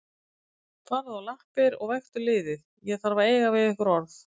Farðu á lappir og vektu liðið, ég þarf að eiga við ykkur orð.